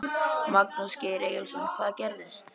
Magnús Geir Eyjólfsson: Hvað gerðist?